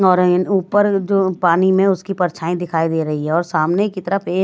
और ऊपर जो पानी में उसकी परछाई दिखाई दे रही है और सामने की तरफ एक--